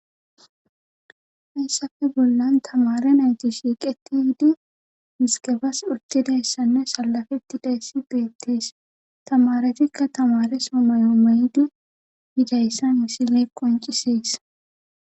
hayssafe bollan tamare nayti shiiqeti hiddu miskefas urtidayssanne salafeti dayssi beettees tamaretikka tamare soomayo maydu hidayssa misilee qoncisees